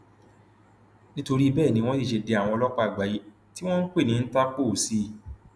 nítorí bẹẹ ni wọn sì ṣe dé àwọn ọlọpàá àgbáyé tí wọn ń pè ní ìńtàpó sí i